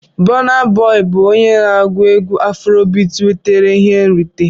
Bona Boi bụ onye na-agụ egwú Afrobiti nwetara ihe nrite.